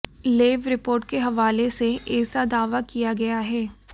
lab report के हवाले से ऐसा दावा किया गया है